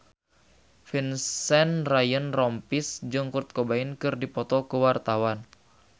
Vincent Ryan Rompies jeung Kurt Cobain keur dipoto ku wartawan